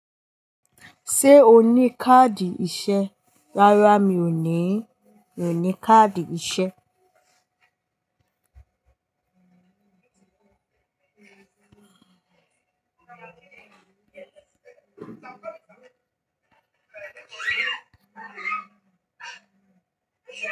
Ṣé o ní káàdì ìṣe? Rárá mi ò ní, mi ò ní káàdì ìṣe.